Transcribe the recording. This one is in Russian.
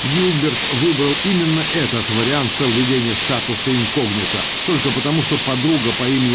гилберт выбрал именно этот вариант соблюдения статуса инкогнито только потому что подруга по имени